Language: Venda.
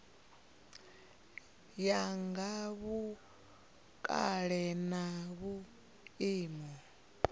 ya nga vhukale na vhuimo